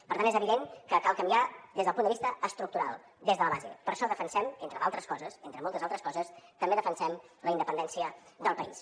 per tant és evident que cal canviar des del punt de vista estructural des de la base per això defensem entre d’altres coses entre moltes altres coses també defensem la independència del país